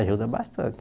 Ajuda bastante.